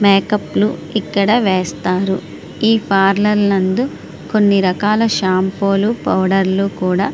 makeup లు ఇక్కడ వేస్తారు ఈ పార్లోర్ నందు కొన్ని రకాల షాంపూ లు పౌడర్ లు కూడా--